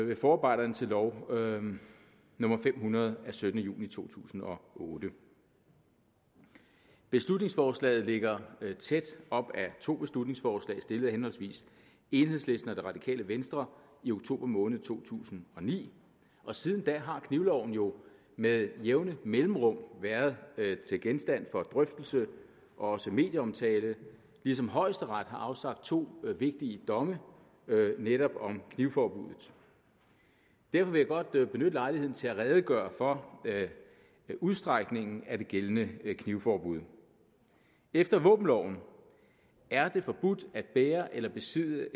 ved forarbejderne til lov nummer fem hundrede af syttende juni to tusind og otte beslutningsforslaget ligger tæt op ad to beslutningsforslag stillet af henholdsvis enhedslisten og det radikale venstre i oktober måned to tusind og ni og siden da har knivloven jo med jævne mellemrum været genstand for drøftelse og også medieomtale ligesom højesteret har afsagt to vigtige domme netop om knivforbuddet derfor vil jeg godt benytte lejligheden til at redegøre for udstrækningen af det gældende knivforbud efter våbenloven er det forbudt at bære eller besidde